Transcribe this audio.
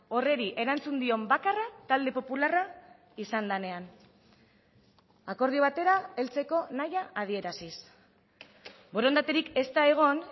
horri erantzun dion bakarra talde popularra izan denean akordio batera heltzeko nahia adieraziz borondaterik ez da egon